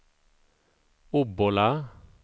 Obbola